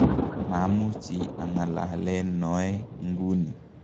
mamuchi ang'alalen noe nguni